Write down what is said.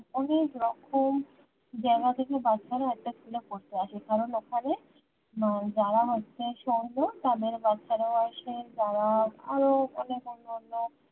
অনেক রকম জায়গা থেকে বাচ্চারা একটা school এ পড়তে আসে কারণ ওখানে যারা হচ্ছে সঙ্গ তাদের বাচ্ছারা আসে যারা আরও অনেক অন্যান্য